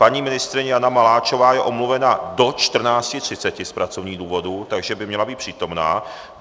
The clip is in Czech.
Paní ministryně Jana Maláčová je omluvena do 14.30 z pracovních důvodů, takže by měla být přítomna.